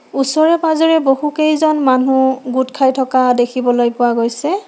ওচৰে পাজৰে বহুকেইজন মানুহ গোট খাই থকা দেখিবলৈ পোৱা গৈছে।